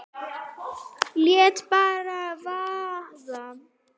Lét bara vaða.